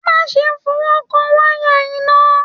Má ṣe fọwọkàn wayà iná!